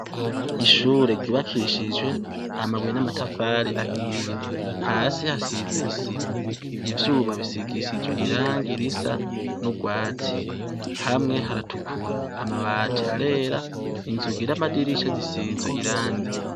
Ishure ryubakishije amabuye namatafari ahiye hasi hasi hasize isima ivyuma bisigishije irangi nurwatsi hamwe haratukura amabati arera inzugi namadirisha bisizwe irangi